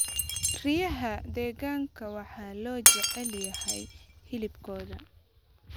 Riyaha deegaanka waxaa loo jecel yahay hilibkooda.